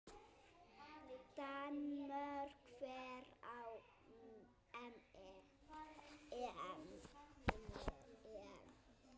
Danmörk fer á EM.